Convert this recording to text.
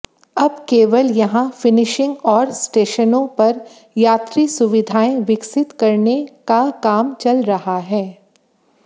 अब केवल यहां फिनिशिंग और स्टेशनों पर यात्री सुविधाएं विकसित करने काम चल रहा है